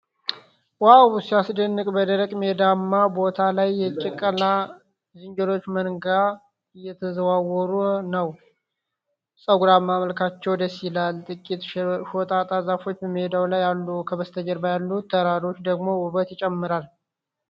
ዋው ሲያስደንቅ! በደረቅ ሜዳማ ቦታ ላይ የጭላዳ ዝንጀሮዎች መንጋ እየተዘዋወረ ነው። ፀጉራማው መልካቸው ደስ ይላል። ጥቂት ሾጣጣ ዛፎች በሜዳው ላይ አሉ። ከበስተጀርባ ያሉት ተራሮች ደግሞ ውበት ጨምረዋል።